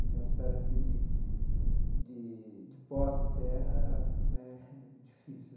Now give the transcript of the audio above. Então, a história assim de de de posse de terra né difícil.